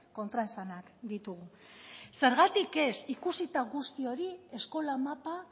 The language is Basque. kontraesanak ditugu zergatik ez ikusita guzti hori eskola mapa